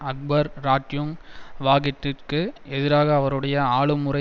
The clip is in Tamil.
அக்பர் ராட்யூங் வாகிட்டிற்கு எதிராக அவருடைய ஆளும்முறை